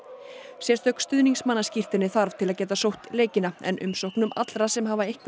sérstök þarf til að geta sótt leikina en umsóknum allra sem hafa einhver